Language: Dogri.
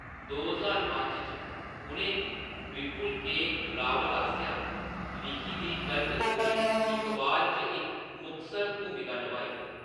दो ज्हार पंज च, उʼनें विपुल के. रावल आस्सेआ लिखी दी कल्ट मूवी इकबाल च इक मुखसर भूमिका नभाई।